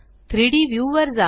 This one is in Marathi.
3डी व्ह्यू वर जा